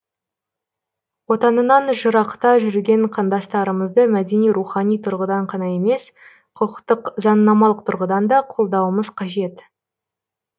отанынан жырақта жүрген қандастарымызды мәдени рухани тұрғыдан қана емес құқықтық заңнамалық тұрғыдан да қолдауымыз қажет